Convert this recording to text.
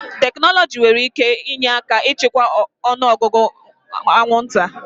Tekinọloji nwere ike inye aka ịchịkwa ọnụ ọgụgụ anwụnta.